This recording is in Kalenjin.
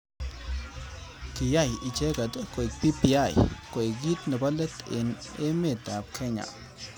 Kiyai icheket koek BBI koek kit nebo let eng emet ab Kenya.